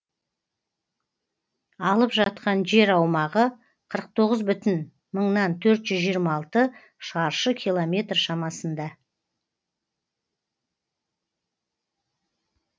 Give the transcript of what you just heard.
алып жатқан жер аумағы қырық тоғыз бүтін мыңнан төрт жүз жиырма алты мың шаршы километр шамасында